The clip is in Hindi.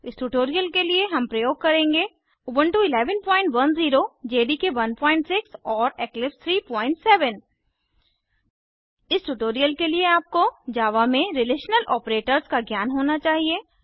इस ट्यूटोरियल के लिए हम प्रयोग करेंगे उबुंटू 1110 जेडीके 16 और इक्लिप्स 37 इस ट्यूटोरियल के लिए आपको जावा में रिलेशनल आपरेटर्स का ज्ञान होना चाहिए